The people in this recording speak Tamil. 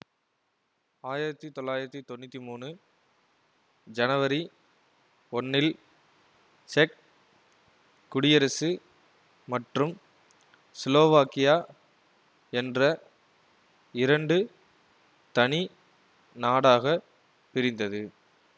ஆயிரத்தி தொள்ளாயிரத்தி தொன்னூத்தி மூனு ஜனவரி ஒன்னில் செக் குடியரசு மற்றும் சிலோவாக்கியா என்ற இரண்டு தனி நாடாகப் பிரிந்தது